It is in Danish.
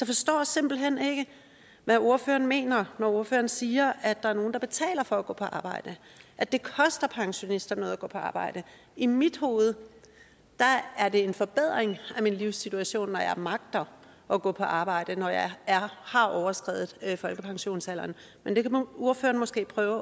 forstår simpelt hen ikke hvad ordføreren mener når ordføreren siger at der er nogle der betaler for at gå på arbejde at det koster pensionister noget at gå på arbejde i mit hoved er det en forbedring af min livssituation når jeg magter at gå på arbejde når jeg har overskredet folkepensionsalderen men det kan ordføreren måske prøve